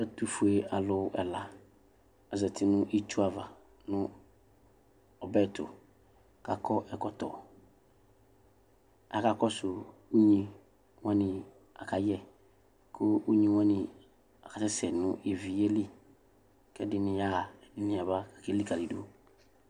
Ɛtvfue alʋ ɛla azati nʋ itsu ava nʋ ɔbɛtʋ kʋ akɔ ɛkɔtɔ aka kɔsʋ unyi wani akayɛ kʋ unyi wani akasɛsɛ nʋ ivi yɛli kʋ ɛdini yaɣa kʋ ɛdini yaba kʋ elikaki dʋ